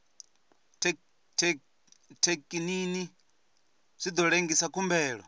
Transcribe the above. thekinini zwi ḓo lengisa khumbelo